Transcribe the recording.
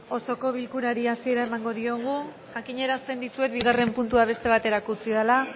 osoko bilkurari hasiera emango diogu jakinarazten dizuet bigarren puntua beste baterako utzi dela